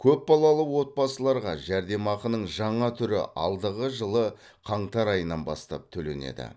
көпбалалы отбасыларға жәрдемақының жаңа түрі алдығы жылы қаңтар айынан бастап төленеді